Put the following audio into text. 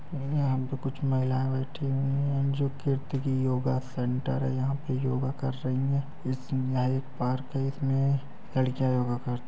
यहां पर कुछ महिलाएं बैठी हुई हैं जो कीर्ति की योगा सेंटर है। यहाँ पे योगा कर रही हैं। इसमें यह एक पार्क है। इसमें पे लड़कियाँ योगा करती हैं।